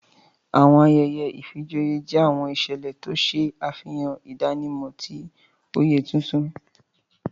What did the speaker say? Awọn ayẹyẹ ìfijoyé jẹ awọn iṣẹlẹ ti o ṣe afihan idanimọ ti oyé tuntun.